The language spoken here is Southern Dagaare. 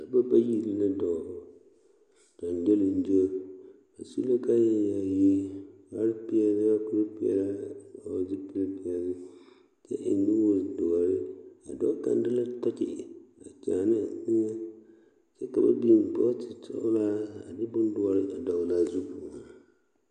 Dɔbɔ bayi la dɔɔ ɡyonɡyoleŋɡyo ba su la kaayɛyaayi kparpeɛle kurpeɛle a hɔɔle zupilipeɛle kyɛ eŋ nuuri doɔre a dɔɔ kyaana la tɔkyi a kyaane ne a eŋɛ kyɛ ka ba biŋ bɔtele sɔɔlaa a de bondoɔre dɔɔle a zu